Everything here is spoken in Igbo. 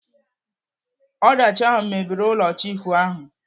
Ọdachi ahụ mebiri ụlọ chiifu ahụ.